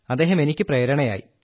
അദ്ദേഹം എനിക്കു പ്രേരണയായി